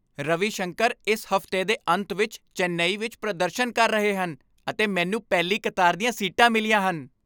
ਰਵੀ ਸ਼ੰਕਰ ਇਸ ਹਫ਼ਤੇ ਦੇ ਅੰਤ ਵਿੱਚ ਚੇਨਈ ਵਿੱਚ ਪ੍ਰਦਰਸ਼ਨ ਕਰ ਰਹੇ ਹਨ ਅਤੇ ਮੈਨੂੰ ਪਹਿਲੀ ਕਤਾਰ ਦੀਆਂ ਸੀਟਾਂ ਮਿਲੀਆਂ ਹਨ!